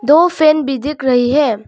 दो फैन भी दिख रही है।